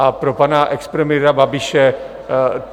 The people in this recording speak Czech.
A pro pana expremiéra Babiše.